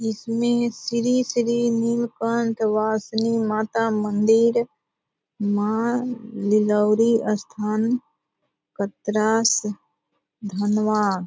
इसमें श्री श्री नील कंठ वासनीय माता मंदिर माँ दिलोरी स्थान पत्रास धनवान।